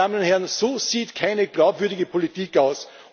Meine Damen und Herren! So sieht keine glaubwürdige Politik aus!